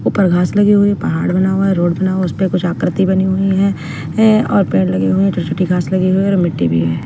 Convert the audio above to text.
ऊपर घास लगी हुई है पहाड़ बना हुआ है रोड बना हुआ है उस पे कुछ आकृति बनी हुई है ऐं और पेड़ लगे हुए हैं छोटी-छोटी घास लगी हुई है और मिट्टी भी है।